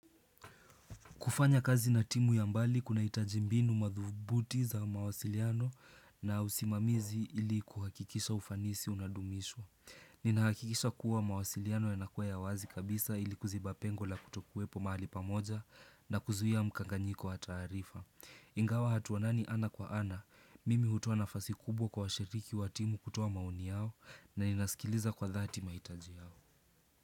Kufanya kazi na timu ya mbali kuna hitaji mbinu madhubuti za mawasiliano na usimamizi ili kuhakikisha ufanisi unadumishwa. Nina hakikisha kuwa mawasiliano yanakuwa ya wazi kabisa ili kuziba pengo la kutokuwepo mahali pamoja na kuzuia mkanganyiko wa taarifa. Ingawa hatuonani ana kwa ana, mimi hutua nafasi kubwa kwa washiriki wa timu kutua maoni yao na inasikiliza kwa dhati mahitaji yao.